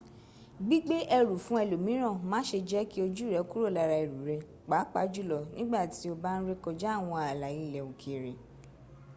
gbígbé ẹrù fún ẹlòmíràn - má se jẹ́ kí ojú rẹ kúrò lára ẹrù rẹ pàápàá jùlọ nígbà tí o bá ń rékọjá àwọn ààlà ilẹ̀ òkèrè